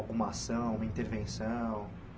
Alguma ação, uma intervenção?